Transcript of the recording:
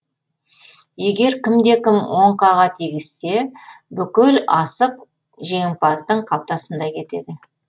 егер кімде кім оңқаға тигізсе бүкіл асық жеңімпаздың қалтасында кетеді